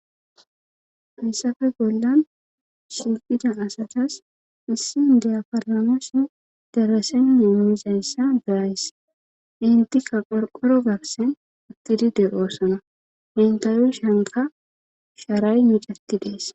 hayssafe bollan shiqida asatas issin diyaparamashe deresenne mizayssa derayss intika qorqoro garsen attidi de oosona intaru shanka sharay micati dees